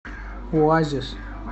оазис